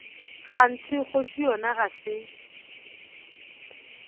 kganthe kgoši yona ga se